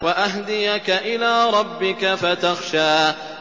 وَأَهْدِيَكَ إِلَىٰ رَبِّكَ فَتَخْشَىٰ